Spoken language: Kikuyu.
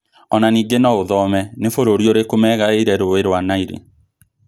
Ona ningĩ no ũthome: nĩ bũrũri ũrĩkũ megaĩire rũĩ rwa Nile?